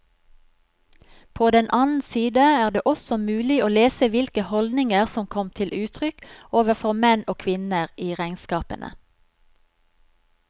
På den annen side er det også mulig å lese hvilke holdninger som kom til uttrykk overfor menn og kvinner i regnskapene.